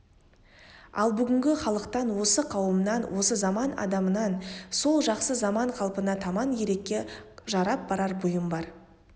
ал бүгінгі халықтан осы қауымнан осы заман адамынан сол жақсы заман қалпына таман керекке жарап барар бұйым бар